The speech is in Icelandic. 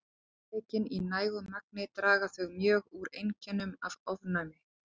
Tekin í nægu magni draga þau mjög úr einkennum af ofnæmi.